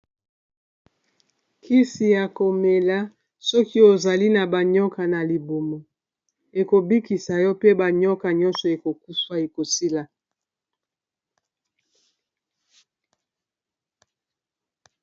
kisi ya komela soki ozali na banioka na libumu ekobikisa yo pe banioka nyonso ekokufa, ekosila